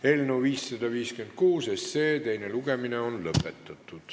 Eelnõu 556 teine lugemine on lõpetatud.